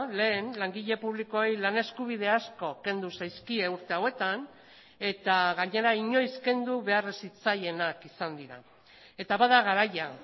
lehen langile publikoei lan eskubide asko kendu zaizkie urte hauetan eta gainera inoiz kendu behar ez zitzaienak izan dira eta bada garaia